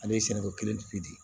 Ale ye sɛnɛko kelen pe di